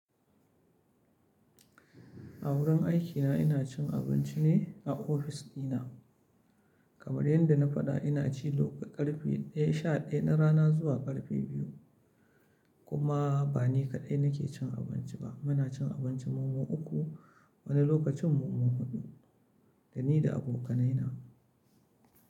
A wurin aikina ina cin abinci a ofis dina. Kamar yadda na faɗa ina ci daga karfe ɗaya sha ɗaya na rana zuwa karfe biyu. Kuma ba ni kaɗai nake cin abinci ba, muna cin abinci mu uku wani lokacin mamo huɗu dani da abokanaina.